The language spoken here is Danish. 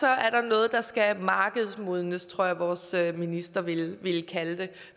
er der noget der skal markedsmodnes sådan tror jeg vores minister ville kalde det